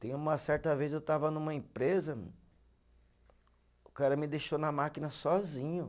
Tem uma certa vez eu estava numa empresa, o cara me deixou na máquina sozinho.